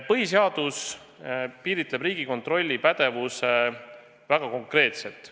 Põhiseadus piiritleb Riigikontrolli pädevuse väga konkreetselt.